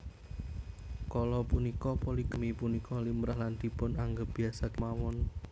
Kala punika poligami punika limrah lan dipun anggep biasa kémawon